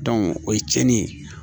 o ye cɛnni ye